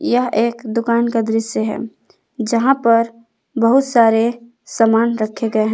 यह एक दुकान का दृश्य है जहां पर बहुत सारे सामान रखे गए हैं।